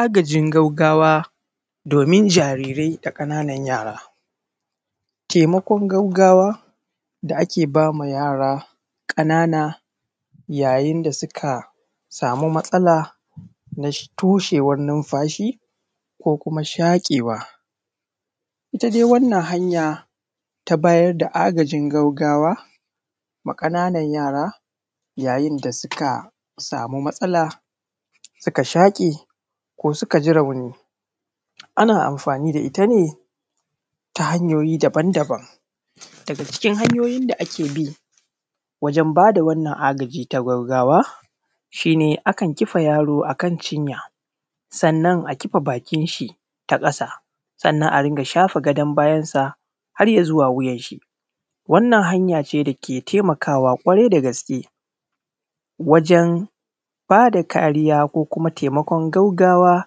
Agajin gaggawa domin jarirai da ƙananun yara Taimakon gaggawa da ake bai wa yara ƙanana yayin da suka samu matsala na toshewan nunfashi ko kuma shaƙewa. Ita dai wannan hanya ta bayar da agajin gaggawa ma ƙananun yara yayin da suka sama matsala suka shaƙe ko suka ji rauni. Ana anfani da ita ne ta hanyoyi daban-daban, daga cikin hanyoyi da ake bi wajen bayar da wannan agajin na gaggawa shi ne akan kifa yaro akan cinya, sannan akan kifa bakin shi ta ƙasa, sannan a dunga shafa gadon bayan shi har ya zuwa wuyan shi. Wannan hanya ne dake taimakawa kwarai da gaske wajen bayar da kariya na gaggawa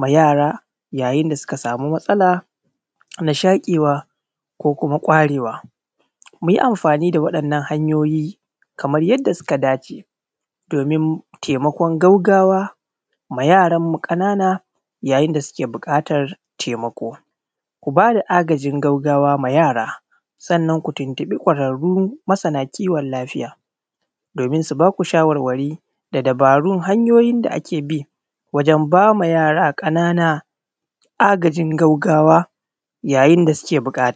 ma yara yayin da suka sama matsala ta shaƙewa ko kuma kwarewa. Mu yi anfani da wayannan hanyoyi kamar yadda suka dace domin taimakon gaggawa ma yaranmu ƙanana yayin da suke buƙata ga taimako. Ko bada agajin gaggawa wa yara, sannan ku tuntuɓi kwararru masana kiwon lafiya domin su ba ka shawarwari da dubaron hanyoyi da ake bi wajen bayar wa yara ƙananan agajin gaggawa yayin da suke buƙata ga.